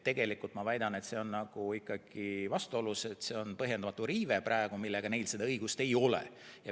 Tegelikult ma väidan, et praegu on see ikkagi vastuolus, see on põhjendamatu riive, neil praegu seda õigust ei ole.